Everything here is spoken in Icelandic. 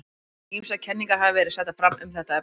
Ýmsar kenningar hafa verið settar fram um þetta efni.